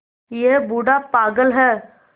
यह बूढ़ा पागल है